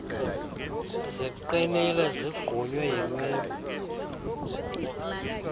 ziqinile zigqunywe yinwebu